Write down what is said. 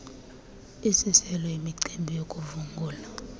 isiselo imicinga yokuvungula